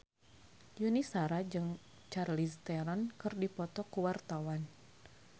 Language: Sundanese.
Yuni Shara jeung Charlize Theron keur dipoto ku wartawan